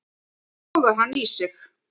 Sogar hann í sig.